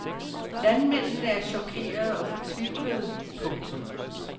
Landmændene er chokerede og fortvivlede. punktum